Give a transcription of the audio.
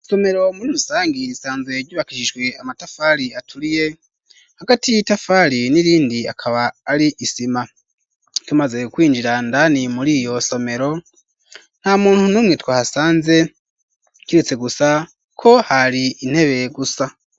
Isomero muri musangi isanzwe yubakishishwe amatafari aturiye ,hagati itafari n'irindi akaba ari isima ,tumaze kwinjira ndani muri iyo somero, nta muntu numwe twa hasanze kiretse gusa ko hari intebe gusa.